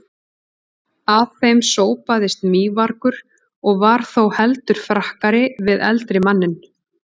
Að þeim sópaðist mývargur og var þó heldur frakkari við eldri manninn.